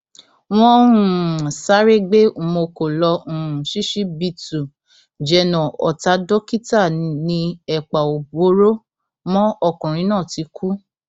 wọn um sáré gbé umonko lọ um ṣíṣíbítù jẹnà ọtá dókítà ni ẹpà ò bóró mọ ọkùnrin náà ti kú